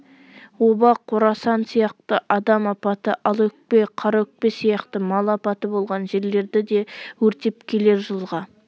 оба қорасан сияқты адам апаты алаөкпе қараөкпе сияқты мал апаты болған жерлерді де өртеп келер жылға